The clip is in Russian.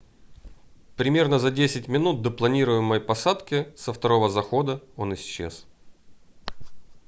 примерно за 10 минут до планируемой посадки со второго захода он исчез